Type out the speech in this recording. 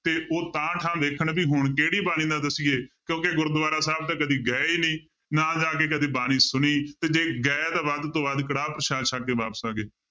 ਤੇ ਉਹ ਵੇਖਣ ਵੀ ਹੁਣ ਕਿਹੜੀ ਬਾਣੀ ਦਾ ਦੱਸੀਏ ਕਿਉਂਕਿ ਗੁਰਦੁਆਰਾ ਸਾਹਿਬ ਤਾਂ ਕਦੇ ਗਏ ਹੀ ਨੀ, ਨਾ ਜਾ ਕੇ ਕਦੇ ਬਾਣੀ ਸੁਣੀ ਤੇ ਜੇ ਗਏ ਤਾਂ ਵੱਧ ਤੋਂ ਵੱਧ ਕੜਾਹ ਪਰਸ਼ਾਦ ਸੱਕ ਕੇ ਵਾਪਸ ਆ ਗਏ,